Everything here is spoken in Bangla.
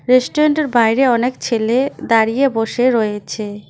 রেস্টুরেন্ট -এর বাইরে অনেক ছেলে দাঁড়িয়ে বসে রয়েছে।